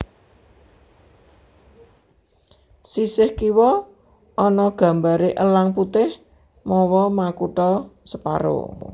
Sisih kiwa ana gambaré Elang Putih mawa makutha separo